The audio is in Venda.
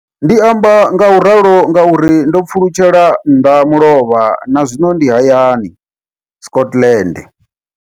Ndi amba ngauralo nga uri ndo pfulutshela mbamulovha na zwino ndi hayani, Scotland.